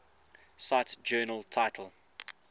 cite journal title